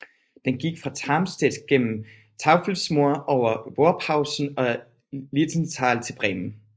Den gik fra Tarmstedt gennem Teufelsmoor over Worphausen og Lilienthal til Bremen